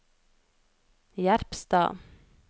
Jerpstad